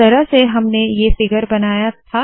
इस तरह से हमने ये फिगर बनाया था